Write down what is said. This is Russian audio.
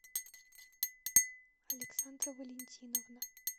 александра валентиновна